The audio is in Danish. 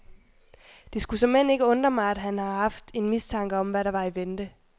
Det skulle såmænd ikke undre mig, at han har haft en mistanke om, hvad der var i vente.